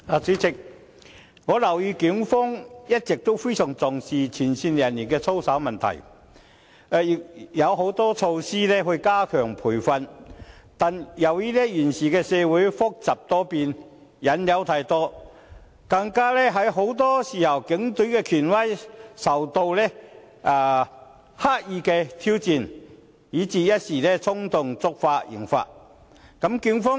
主席，我留意到警方一直非常重視前線人員的操守問題，已推出很多措施加強培訓，但由於現時社會複雜多變，引誘太多，加上很多時候，警隊的權威受到刻意挑戰，以致有警員一時衝動，觸犯刑法。